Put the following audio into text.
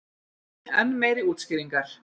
Enn meiri útskýringar.